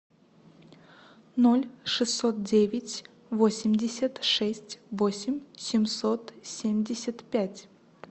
ноль шестьсот девять восемьдесят шесть восемь семьсот семьдесят пять